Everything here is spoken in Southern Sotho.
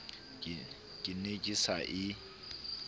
ke ne ke sa e